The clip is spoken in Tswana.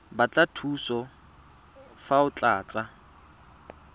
batla thuso fa o tlatsa